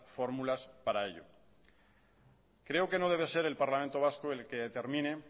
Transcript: fórmulas para ello creo que no debe ser el parlamento vasco el que determine